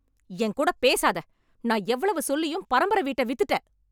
என் கூட பேசாத! நான் எவ்வளவு சொல்லியும் பரம்பரை வீட்டை வித்துட்ட.